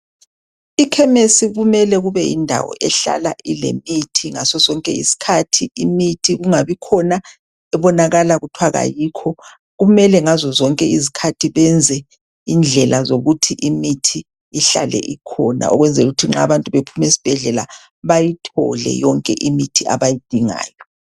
Ikhemesi kumele kube yindawo ekuhlala kulemithi ngasosonke isikhathi, imithi kungabikhona ebonakala kuthwa kayikho. Kumele ngazozonke izikhathi benze indlela zokuthi imithi ihlale ikhona ukwenzelukuthi nxa abantu bephumesibhedlela bayithole yonke imithi abayidingayo.